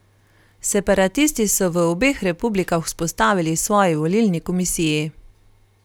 Separatisti so v obeh republikah vzpostavili svoji volilni komisiji.